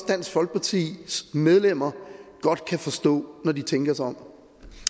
dansk folkepartis medlemmer godt kan forstå når de tænker sig om